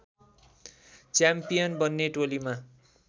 champion बन्ने टोलीमा